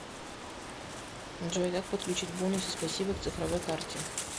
джой как подключить бонусы спасибо к цифровой карте